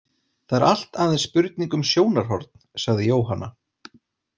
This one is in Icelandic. Það er allt aðeins spurning um sjónarhorn, sagði Jóhanna.